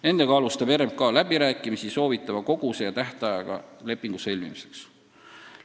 Nendega alustab RMK läbirääkimisi soovitava koguse ja tähtajaga lepingu sõlmimiseks.